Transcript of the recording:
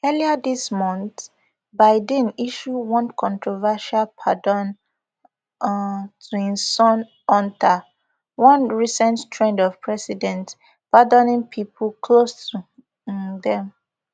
earlier dis month biden issue one controversial pardon um to im son hunter one recent trend of presidents pardoning pipo close to um dem